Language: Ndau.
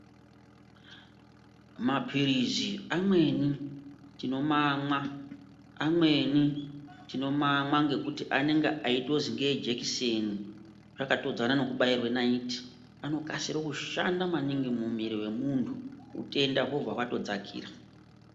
Maphirizi amweni tinomamwa amweni tinomamwa ngekuti anenge eitozwi ngeejekiseni akatodzana nekubairwa naiti anokasira kushanda maningi mumwiri memuntu utenda hwobva hwatokasira kudzakira.